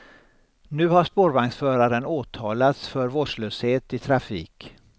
Nu har spårvagnsföraren åtalats för vårdslöshet i trafik.